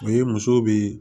O ye muso be